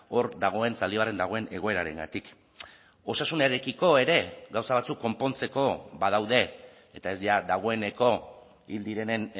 hor dagoen zaldibarren dagoen egoerarengatik osasunarekiko ere gauza batzuk konpontzeko badaude eta ez dagoeneko hil direnen